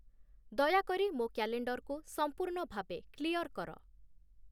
ଦୟାକରି ମୋ କ୍ୟାଲେଣ୍ଡର୍‌କୁ ସଂପୂର୍ଣ୍ଣ ଭାବେ କ୍ଲିୟର୍ କର